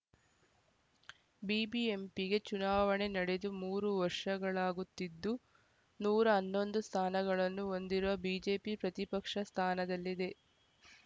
ಬಿಬಿಎಂಪಿಗೆ ಚುನಾವಣೆ ನಡೆದು ಮೂರು ವರ್ಷಗಳಾಗುತ್ತಿದ್ದು ನೂರ ಹನ್ನೊಂದು ಸ್ಥಾನಗಳನ್ನು ಹೊಂದಿರುವ ಬಿಜೆಪಿ ಪ್ರತಿಪಕ್ಷ ಸ್ಥಾನದಲ್ಲಿದೆ